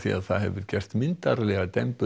það hefur gert myndarlegar